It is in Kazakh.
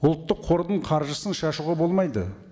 ұлттық қордың қаржысын шашуға болмайды